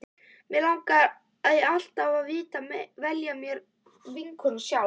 Mig langaði meira til að velja mér vinkonur sjálf.